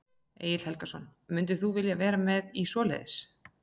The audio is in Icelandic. Egill Helgason: Mundir þú vilja vera með í svoleiðis?